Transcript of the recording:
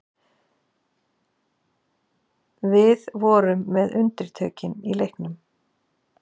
Við vorum með undirtökin í leiknum